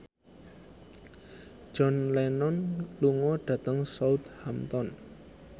John Lennon lunga dhateng Southampton